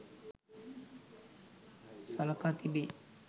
සලකා තිබේ.